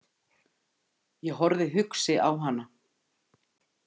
Ég horfði hugsi á hana.